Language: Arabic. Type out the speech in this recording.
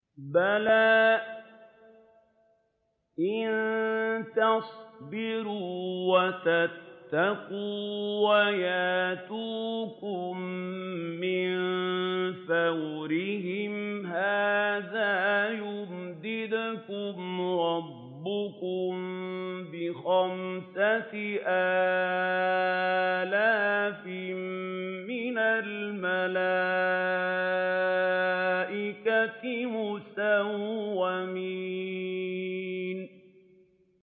بَلَىٰ ۚ إِن تَصْبِرُوا وَتَتَّقُوا وَيَأْتُوكُم مِّن فَوْرِهِمْ هَٰذَا يُمْدِدْكُمْ رَبُّكُم بِخَمْسَةِ آلَافٍ مِّنَ الْمَلَائِكَةِ مُسَوِّمِينَ